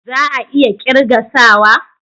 Za a iya kirga sawa?